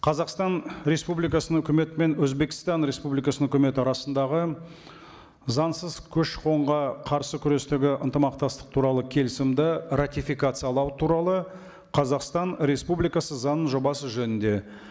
қазақстан республикасының өкіметі мен өзбекстан республикасының өкіметі арасындағы заңсыз көші қонға қарсы күресуге ынтымақтастық туралы келісімді ратификациялау туралы қазақстан республикасы заңының жобасы жөнінде